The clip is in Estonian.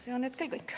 See on hetkel kõik.